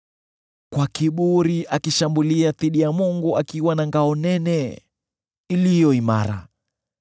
kwa kiburi akishambulia dhidi ya Mungu akiwa na ngao nene, iliyo imara.